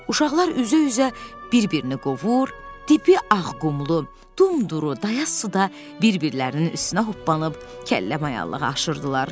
Uşaqlar üzə-üzə bir-birini qovur, dibi ağqumlu, dumduru, dayaz suda bir-birlərinin üstünə hoppanıb kəlləmayallığı aşırırdılar.